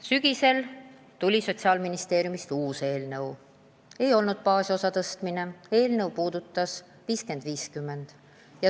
Sügisel tuli Sotsiaalministeeriumist uus eelnõu, mis ei puudutanud baasosa suurendamist, vaid skeemi 50 : 50.